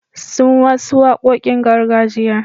Sun wasu waƙoƙin gargajiya.